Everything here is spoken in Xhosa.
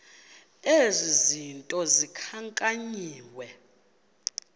ezi zinto zikhankanyiweyo